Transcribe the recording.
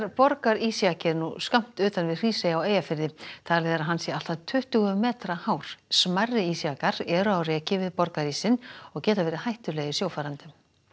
borgarísjaki er nú skammt utan við Hrísey á Eyjafirði talið er að hann sé allt að tuttugu metra hár smærri jakar eru á reki við borgarísinn og geta verið hættulegir sjófarendum